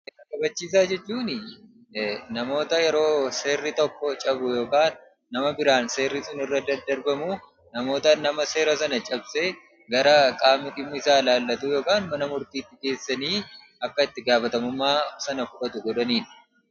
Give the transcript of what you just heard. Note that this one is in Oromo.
Seera Kabachiisaa jechuun namoota yeroo seerri tokkoo cabu yookaan namoota biraan seerri sun irra daddarbamu namoota nama seera sana cabse gara qaama dhimmi isaa ilaallatu yookaan mana murtiitti geessanii akka itti gaafatamummaa sana fudhatu godhaniidha.